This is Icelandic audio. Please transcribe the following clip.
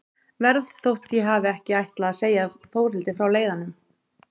Verð þótt ég hafi ekki ætlað að segja Þórhildi frá leiðanum.